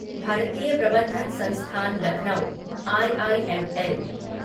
भारतीय प्रबंधन संस्थान लखनऊ आईआईएमएल